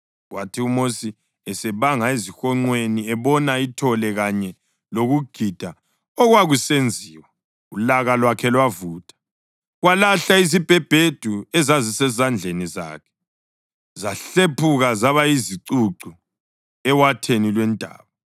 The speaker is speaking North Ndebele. Kwathi uMosi esebanga ezihonqweni ebona ithole kanye lokugida okwakusenziwa, ulaka lwakhe lwavutha, walahla izibhebhedu ezazisezandleni zakhe, zahlephuka zaba yizicucu ewatheni lwentaba.